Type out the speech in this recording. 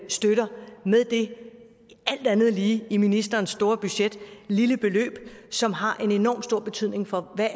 støtter med det alt andet lige i ministerens store budget lille beløb som har en enorm stor betydning for hvad